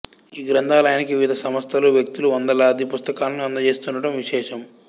ఈ గ్రంథాలయానికి వివిధ సంస్థలు వ్యక్తులు వందలాది పుస్తకాలను అందజేస్తుండటం విశేషం